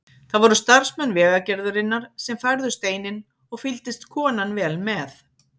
Það voru starfsmenn Vegagerðarinnar sem færðu steininn og fylgdist konan vel með.